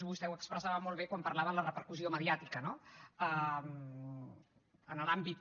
vostè ho expressava molt bé quan parlava de la repercussió mediàtica no en l’àmbit